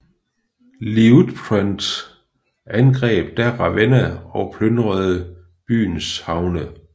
Liutprand angreb da Ravenna og plyndrede byens havne